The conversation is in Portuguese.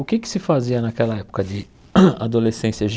O que é que se fazia naquela época de adolescência?